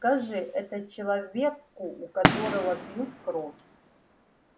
скажи это человеку у которого пьют кровь